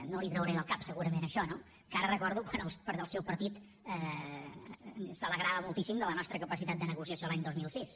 no li ho trauré del cap segurament això no encara recordo quan el seu partit s’alegrava moltíssim de la nostra capacitat de negociació l’any dos mil sis